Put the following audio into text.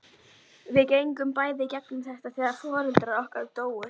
Við gengum bæði í gegnum þetta þegar foreldrar okkar dóu.